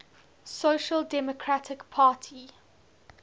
social democratic party